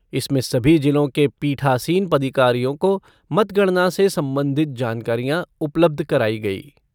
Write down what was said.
इसमें सभी जिलों के पीठासीन पदाधिकारियों को मतगणना से संबंधित जानकारियां उपलब्ध कराई गयी।